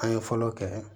An ye fɔlɔ kɛ